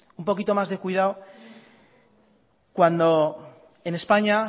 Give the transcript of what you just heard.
un poquito más de cuidado cuando en españa